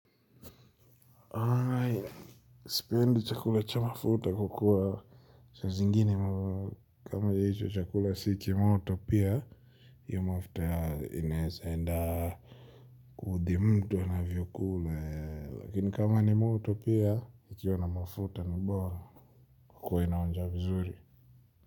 Sipendi chakula cha mafuta kwa kuwa. Saa zingine kama hicho chakula si kimoto pia. Hio mafuta inaeza enda kuudhi mtu anavyokula. Lakini kama ni moto pia, ikiwa na mafuta bora huwa inaonja vizuri.